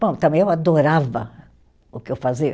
Bom, também eu adorava o que eu fazia.